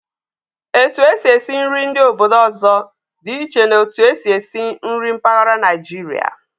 Etu e si esi nri ndị obodo ọzọ dị iche na'otu e si esi nri mpaghara Naijiria.